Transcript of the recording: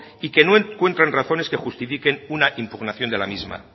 y que no encuentran razones que justifiquen una impugnación de la misma